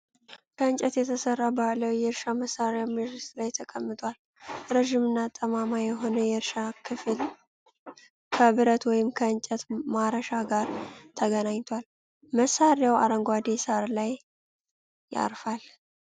ከእንጨት የተሰራ ባህላዊ የእርሻ መሳሪያ መሬት ላይ ተቀምጧል። ረጅምና ጠማማ የሆነው የእርሻው ክፍል ከብረት ወይም ከእንጨት ማረሻ ጋር ተገናኝቷል። መሳሪያው አረንጓዴ ሳር ላይ ያርፋል።